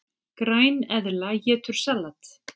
Græneðla étur salat!